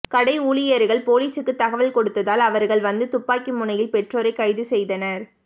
கடை ஊழியர்கள் போலீசுக்கு தகவல் கொடுத்ததால் அவர்கள் வந்து துப்பாக்கி முனையில் பெற்றோரை கைது செய்தனர்